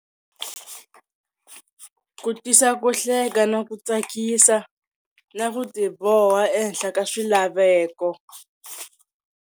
Ku tisa ku hleka na ku tsakisa na ku tiboha ehenhla ka swilaveko.